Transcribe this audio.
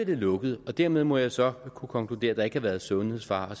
det lukket dermed må jeg så kunne konkludere at der ikke har været sundhedsfare